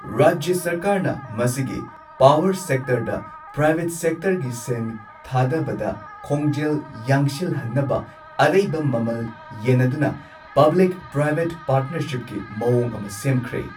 ꯔꯥꯖ꯭ꯌ ꯁꯔꯀꯥꯔꯅ ꯃꯁꯤꯒꯤ ꯄꯥꯋꯔ ꯁꯦꯛꯇꯔꯗ ꯄ꯭ꯔꯥꯏꯕꯦꯠ ꯁꯦꯛꯇꯔꯒꯤ ꯁꯦꯟ ꯊꯥꯗꯕꯗ ꯈꯣꯡꯖꯦꯜ ꯌꯥꯡꯁꯤꯜꯍꯟꯅꯕ ꯑꯔꯩꯕ ꯃꯃꯜ ꯌꯦꯟꯅꯗꯨꯅ ꯄꯕ꯭ꯂꯤꯛ ꯄ꯭ꯔꯥꯏꯚꯦꯠ ꯄꯥꯔ꯭ꯠꯅꯔꯁꯤꯞꯀꯤ ꯃꯑꯣꯡ ꯑꯃ ꯁꯦꯝꯈ꯭ꯔꯦ꯫